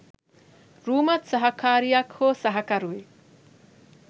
රූමත් සහකාරියක් හෝ සහකරුවෙක්